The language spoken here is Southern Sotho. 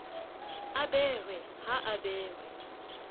a behwe ha a behwe